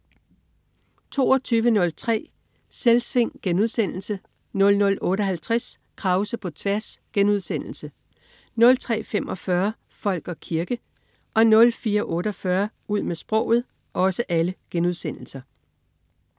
22.03 Selvsving* 00.58 Krause på tværs* 03.45 Folk og kirke* 04.48 Ud med sproget*